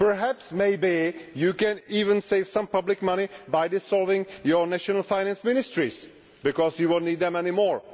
Perhaps you can even save some public money by dissolving your national finance ministries, because you will not need them anymore.